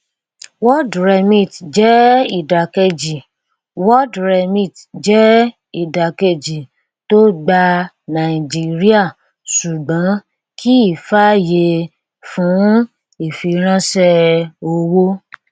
worldremit jẹ ìdàkejì worldremit jẹ ìdàkejì tó gba nàìjíríà ṣùgbón kì í fàyè fún ìfiránṣẹ owó